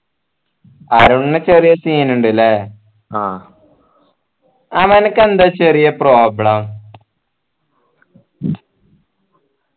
അരുണിന് ചെറിയ scene ഇണ്ടല്ലേ ആ അവനക്കെന്താ ചെറിയ problem